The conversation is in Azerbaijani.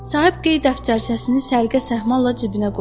Sahib qeyd dəftərçəsini səliqə-səhmanla cibinə qoydu.